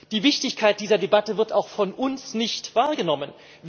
Die Wichtigkeit dieser Debatte wird auch von uns nicht wahrgenommen.